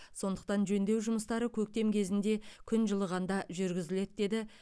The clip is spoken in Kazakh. сондықтан жөндеу жұмыстары көктем кезінде күн жылығанда жүргізіледі деді